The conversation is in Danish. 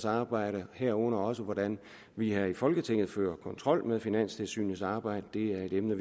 arbejde herunder også hvordan vi her i folketinget fører kontrol med finanstilsynets arbejde det er et emne